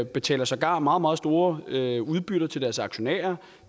betaler sågar meget meget store udbytter til deres aktionærer